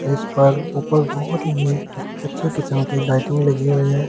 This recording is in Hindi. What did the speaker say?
इस पर ऊपर बहुत ही अच्छे किस्म की लाइटिंग लगी हुई है ।